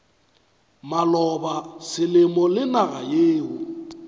maloba selemo le naga yeo